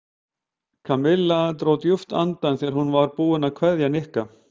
Kamilla dró djúpt andann þegar hún var búin að kveðja Nikka.